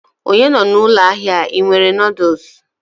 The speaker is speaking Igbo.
onye nọ na ụlọ ahịa a, ị nwere noodles?